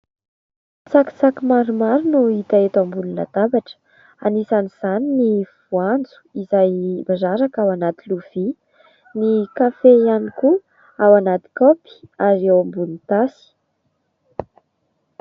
Tsakitsaky maromaro no hita eto ambony latabatra, anisan'izany ny voanjo izay miraraka ao anaty lovia, ny kafe ihany koa ao anaty kaopy ary eo ambonin'ny tasy.